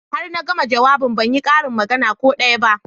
Har na gama jawabin ban yi karin magana ko daya ba